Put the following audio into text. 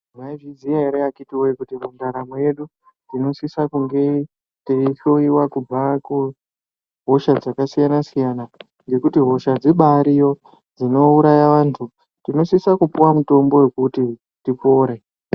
Mwaizviziya ere akhiti woye kuti mundaramo yedu tinosisa kunge teihloiwa kubva kuhosha dzakasiyana siyana ngekuti hosha dzibaariyo dzinouraya vanthu, tinosisa tipuwa mitombo yekuti tipore.